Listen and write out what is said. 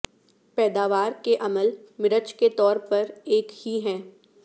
پیداوار کے عمل مرچ کے طور پر ایک ہی ہے